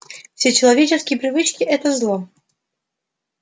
все человеческие привычки это зло